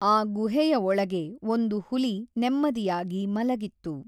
ಆ ಗುಹೆಯ ಒಳಗೆ ಒಂದು ಹುಲಿ ನೆಮ್ಮದಿಯಾಗಿ ಮಲಗಿತ್ತು.